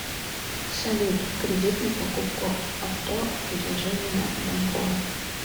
салют кредит на покупку авто предложения банкоа